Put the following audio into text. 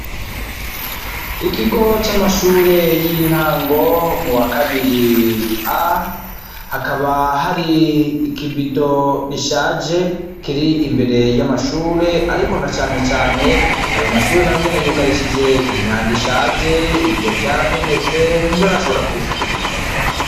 Ikigo c'amashure y'intango mu wa kabiri A, hakaba hari ikibido gishaje kiri imbere y'amashure, ariko na canecane ayo mashure nayo nyene yugarishije imyango ishaje, ibiyo vyaramenetse, ntibarashobora kubisubiriza.